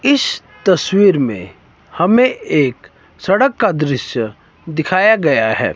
इस तस्वीर में हमें एक सड़क का दृश्य दिखाया गया है।